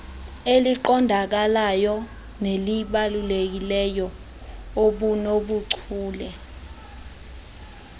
eliqondakalayo nelibalulekileyo obunobuchule